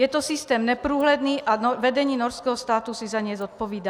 Je to systém neprůhledný a vedení norského státu si za něj zodpovídá.